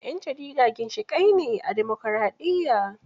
Yan jarida ginshiƙai ne a dimokraɗiyya